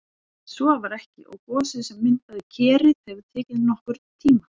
En svo var ekki og gosið sem myndaði Kerið hefur tekið nokkurn tíma.